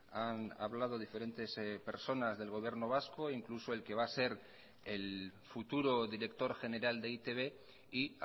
han hablado diferentes personas del gobierno vasco incluso el que va a ser el futuro director general de e i te be y